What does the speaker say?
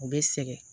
U bɛ sɛgɛn